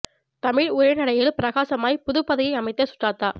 தமிழ் உரைநடையில் பிரகாசமாய் புதுப்பாதையை அமைத்த சுஜாதா